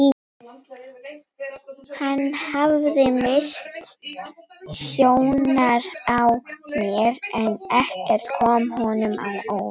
Hann hafði misst sjónar á mér en ekkert kom honum á óvart.